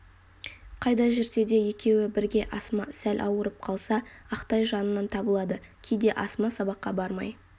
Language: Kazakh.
қайда жүрсе де екеуі бірге асма сәл ауырып қалса ақтай жанынан табылады кейде асма сабаққа бармай